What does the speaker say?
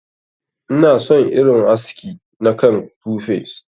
Ina son irin haski na kan 2face.